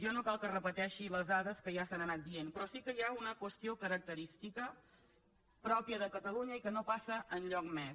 jo no cal que repeteixi les dades que ja s’han anat dient però sí que hi ha una qüestió característica pròpia de catalunya i que no passa enlloc més